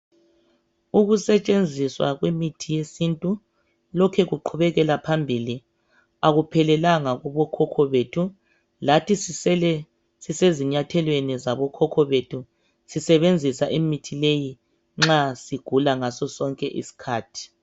Ukusetshenziswa kwemithi yesintu lokhe kuqhubekela phambili, akuphelelanga kubokhokho bethu. Lathi sisele sisezinyathelweni zabokhokho bethu sisebenzisa imithi leyi nxa sigula ngaso sonke isikhathi.